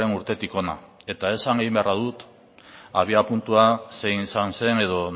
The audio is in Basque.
urtetik hona esan egin beharra dut abiapuntua zein izan zen edo